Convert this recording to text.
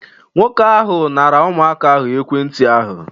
Nwoke ahụ nara ụmụaka ahụ ekwentị ahụ